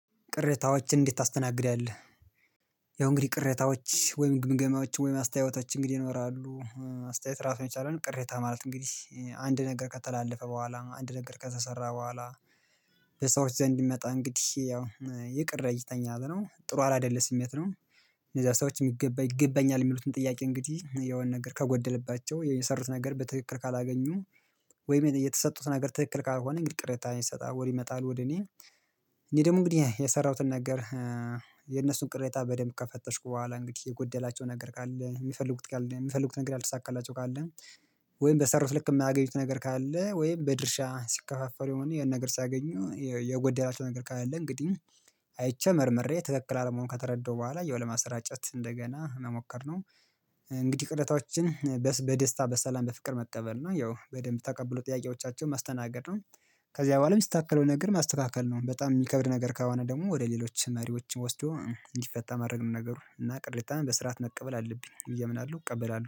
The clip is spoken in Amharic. ቅሬታዎችን እንዴት ታስተናግዳለህ? ያው እንግዲህ ቅሬታዎች ወይም ግምገማዎች ወይም አስተያየቶች እንግዲህ ይኖራሉ አስተያየት ራሱን የቻለ ነው ቅሬታ ማለት እንግዲህ አንድ ነገር ከተላለፈ በኋላ አንድ ነገር ከተሰራ በኋላ በሰዎች ዘንድ ይመጣ እንግዲህ ያው ይቅር እይተኛል ነው ጥሩ አላደለም ስሜት ነው። እነዛ ሰዎች የሚገባ ይገባኛል የሚሉትን ጥያቄ እንግዲህ የሆነ ነገር ከጎደለባቸው የሰሩት ነገር በትክክል ካላገኙ ወይም የተሰጡት ነገር ትክክል ካልሆነ እንግዲህ ቅሬታ ይሰጣሉ ይመጣሉ ወደ እኔ፤ እኔ ደግሞ እንግዲህ የሰራሁትን ነገር የነሱን ቅሬታ በደንብ ከፈተሽኩ በኋላ እንግዲህ የጎደላቸው ነገር ካለ የሚፈልጉት ካለ የሚፈልጉን ነገር ያልተሳካላቸው ካለ ወይም በሰሩት ልክ የማያገኙት ነገር ካለ ወይም በድርሻ ሲከፋፈር የሆነ ነገር ሲያገኙ የጎደላቸው ነገር ካለ እንግዲህ አይቼ መርምሬ ትክክል አለመሆን ከተረዳሁ በኋላ ያው ለማሰራጨት እንደገና መሞከር ነው። እንግዲህ ቅሬታዎቻችን በደስታ በሰላም በፍቅር መቀበል ነው ያው በደንብ ተቀብሎ ጥያቄዎቻቸውን ማስተናገድ ነው። ከዚያ በኋላም የሚስተካከለውን ነገር ማስተካከል ነው በጣም የሚከብድ ነገር ከሆነ ደግሞ ወደ ሌሎች መሪዎች ወስዶ እንዲፈታ ማድረግ ነው ነገሩ እና ቅሬታም በስርዓት መቀበል አለብኝ ብዬ ምን አለው እቀበላለሁ